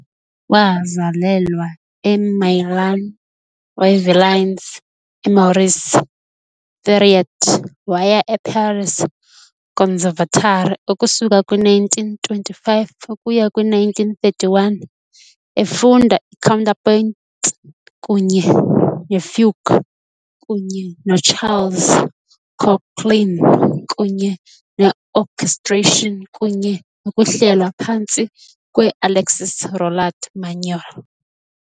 Wazalelwa eMeulan, uYvelines, uMaurice Thiriet waya eParis Conservatory ukusuka kwi-1925 ukuya kwi-1931, efunda i-counterpoint kunye ne-fugue kunye noCharles Koechlin, kunye ne-orchestration kunye nokuhlelwa phantsi kwe-Alexis Roland-Manuel.